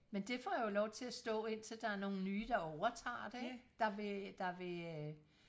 men det får jo lov til og stå indtil der er nogle nye der overtager det ikke der vil der vil øh